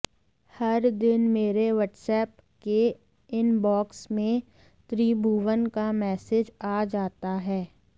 हर दिन मेरे व्हाट्सऐप के इनबॉक्स में त्रिभुवन का मेसेज आ जाता है